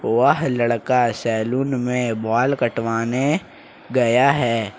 वह लड़का सैलून में बाल कटवाने गया है।